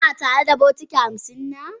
Ki na tare da bokiti hamsin na?